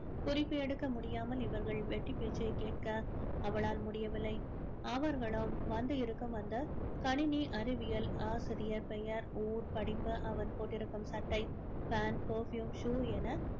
குறிப்பு எடுக்க முடியாமல் இவர்கள் வெட்டி பேச்சை கேட்க அவளால் முடியவில்லை அவர்களும் வந்து இருக்கும் அந்த கணினி அறிவியல் ஆசிரியர் பெயர் ஊர் படிப்பு அவன் போட்டிருக்கும் சட்டை pant perfume shoe என